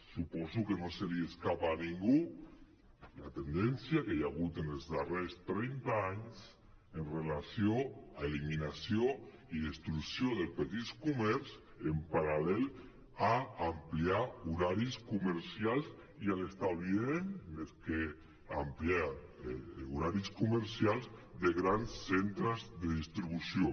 suposo que no se li escapa a ningú la tendència que hi ha hagut en els darrers trenta anys amb relació a eliminació i destrucció del petit comerç en paral·lel a ampliar horaris comercials i a l’establiment més que ampliar horaris comercials de grans centres de distribució